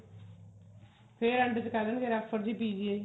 ਫੇਰ end ਚ ਕਹਿ ਦੇਣਗੇ refer ਦੀ PGI